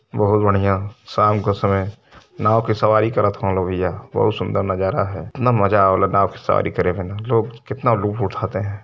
बहुत बढ़िया शाम के समय नाव की सवारी करत हवन लो भईया। बहुत सुंदर नजारा है। तना मजा आवे ला की सवारी करने में न। लोग कितना लुप उठाते हैं।